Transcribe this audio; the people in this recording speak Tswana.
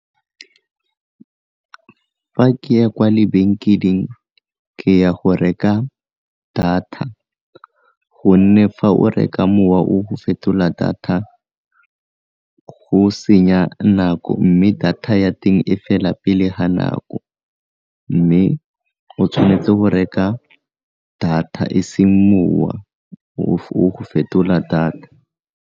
Fa ke ya kwa lebenkeleng ke ya go reka data, gonne fa o reka mowa o go fetola data go senya nako mme data ya teng e fela pele ga nako mme o tshwanetse go reka data e seng mowa o fetola data.